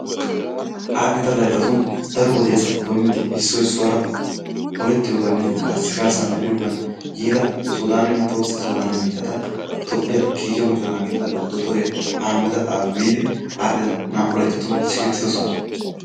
Aadhdhida layttatun daro wodiyaasappe doommidi issoy issuwaara olettiyogaaninne karssikarssa medhiyoogan yiida suudanne tohossa sudanne biittaata Toophiyaa kiike mocco gidida dottoriyaa Ahamide Aabi biidi aadhdhida naa''u laytatun siggetidoosoan.